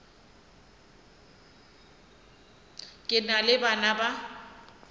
ke na le bana ba